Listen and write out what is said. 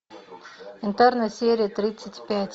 интерны серия тридцать пять